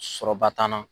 Sɔrɔba t'an na